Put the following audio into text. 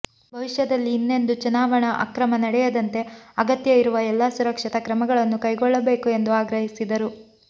ಭವಿಷ್ಯದಲ್ಲಿ ಇನ್ನೆಂದೂ ಚುನಾವಣಾ ಅಕ್ರಮ ನಡೆಯದಂತೆ ಅಗತ್ಯ ಇರುವ ಎಲ್ಲ ಸುರಕ್ಷತಾ ಕ್ರಮಗಳನ್ನು ಕೈಗೊಳ್ಳಬೇಕು ಎಂದು ಆಗ್ರಹಿಸಿದರು